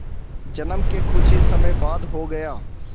जन्म के कुछ ही समय बाद हो गया